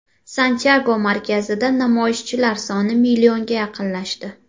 Santyago markazida namoyishchilar soni millionga yaqinlashdi.